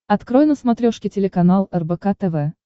открой на смотрешке телеканал рбк тв